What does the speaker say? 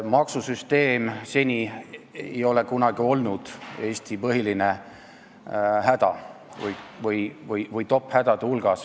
Maksusüsteem ei ole seni kunagi olnud Eesti põhiline häda või top-hädade hulgas.